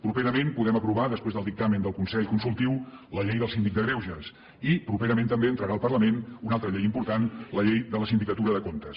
properament podem aprovar després del dictamen del consell consultiu la llei del síndic de greuges i properament també entrarà al parlament una altra llei important la llei de la sindicatura de comptes